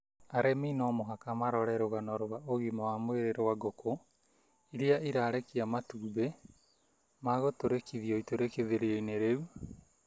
Arĩmi no mũhaka marore rũgano rwa ũgima wa mwĩrĩ rwa ngũkũ iria irarekia matumbĩ magũtũrĩkithĩrio itũrĩkithĩrio -inĩ rĩu